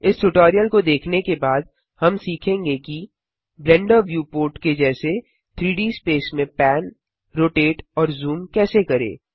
इस ट्यूटोरियल को देखने के बाद हम सीखेंगे कि ब्लेंडर व्यूपोर्ट के जैसे 3डी स्पेस में पैन रोटेट और जूम कैसे करें